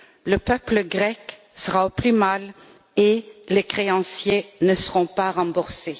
Le peuple grec sera au plus mal et les créanciers ne seront pas remboursés.